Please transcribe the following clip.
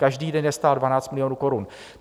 Každý den je stál 12 milionů korun.